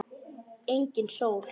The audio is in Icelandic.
Engin sól.